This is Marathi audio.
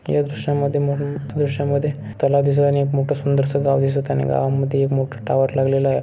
या दृश्यामध्ये मला दृश्यामध्ये तलाव दिसत आणि एक मोठं सुंदर सा गाव दिसत आणि गावामधी एक मोठं टॉवर लावलेले आहे.